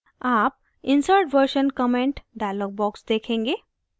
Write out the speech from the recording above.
आप insert version comment dialog box देखेंगे